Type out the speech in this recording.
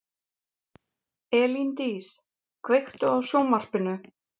Elíndís, kveiktu á sjónvarpinu.